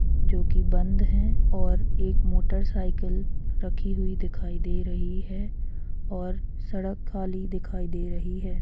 जो कि बंद है और एक मोटरसाइकिल रखी हुई दिखाई दे रही है और सड़क खली दिखाई दे रही है जो कि बंद है।